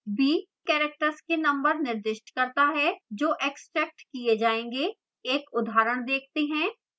b characters के number निर्दिष्ट करता है जो extracted किए जायेंगे एक उदाहरण देखते हैं